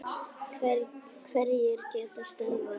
Hverjir geta stöðvað þetta?